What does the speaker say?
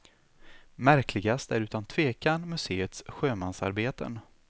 Märkligast är utan tvekan museets sjömansarbeten.